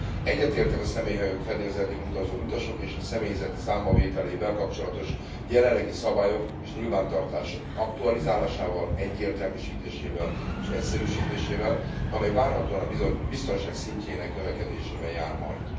Egyetértek a személyhajók fedélzetén utazó utasok és a személyzet számbavételével kapcsolatos jelenlegi szabályok és nyilvántartásuk aktualizálásával, egyértelműsítésével és egyszerűsítésével, amely várhatóan a biztonság szintjének növekedésével jár majd.